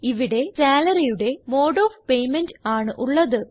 ഇവിടെ Salaryയുടെ mode of payment ആണ് ഉള്ളത്